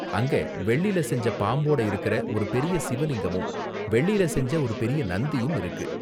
அங்க வெள்ளில செஞ்ச பாம்போட இருக்குற ஒரு பெரிய சிவலிங்கமும் வெள்ளியில செஞ்ச ஒரு பெரிய நந்தியும் இருக்கு.